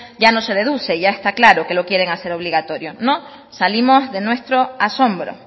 ya no se deduce ya está claro que lo quieren hacer obligatorio no salimos de nuestro asombro